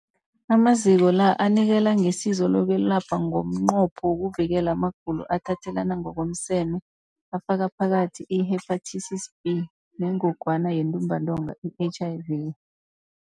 Amaziko la anikela ngesizo lokwelapha ngomnqopho wokuvikela amagulo athathelana ngokomseme afaka phakathi i-Hepatitis B neNgogwana yeNtumbantonga, i-HIV.